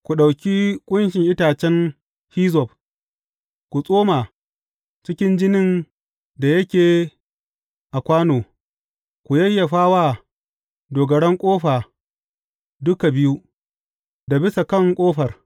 Ku ɗauki ƙunshin itacen hizzob, ku tsoma cikin jinin da yake a kwano, ku yayyafa wa dogaran ƙofa duka biyu, da bisa kan ƙofar.